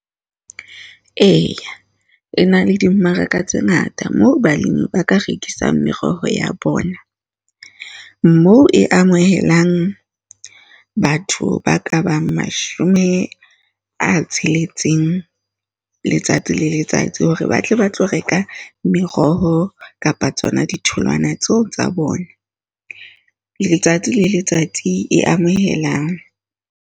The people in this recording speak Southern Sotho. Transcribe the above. Eya, le na le dimmaraka tse ngata moo balemi ba ka rekisang meroho ya bona. Moo e amohelang batho ba ka bang mashome a tsheletseng, letsatsi le letsatsi hore ba tle ba tlo reka meroho kapa tsona ditholwana tseo tsa bona, letsatsi le letsatsi e amohelang.